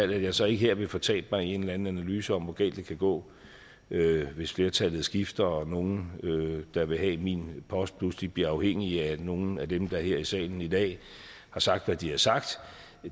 jeg så ikke her vil fortabe mig i en eller anden analyse om hvor galt det kan gå hvis flertallet skifter og nogen der vil have min post pludselig bliver afhængig af nogle af dem der her i salen i dag har sagt hvad de har sagt